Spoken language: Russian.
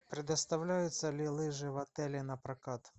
предоставляются ли лыжи в отеле на прокат